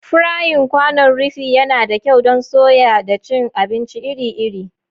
Frying kwanon rufi yana da kyau don soya da cin abinci iri-iri.